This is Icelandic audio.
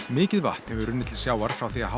mikið vatn hefur runnið til sjávar frá því að